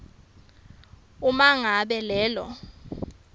uma ngabe lelo